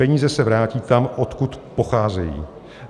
Peníze se vrátí tam, odkud pocházejí.